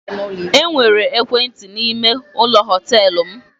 E nwere ekwentị n'ime ụlọ họtelụ m.